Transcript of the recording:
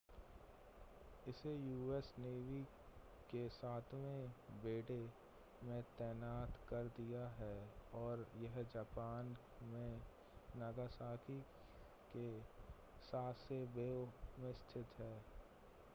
इसे US navy के सातवें बेडे में तैनात कर दिया है और यह जापान में नागासाकी के सासेबो में स्थित है